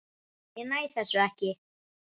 Ég næ þessu ekki.